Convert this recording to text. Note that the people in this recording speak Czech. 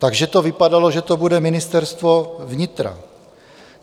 Takže to vypadalo, že to bude Ministerstvo vnitra.